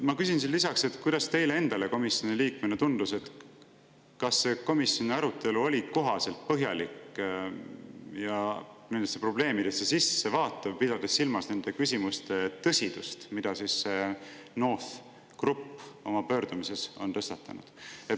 Ma küsin lisaks, kuidas teile endale komisjoni liikmena tundus, kas komisjoni arutelu oli piisavalt põhjalik ja nendesse probleemidesse sissevaatav, pidades silmas nende küsimuste tõsidust, mida NORTH Group oma pöördumises tõstatas.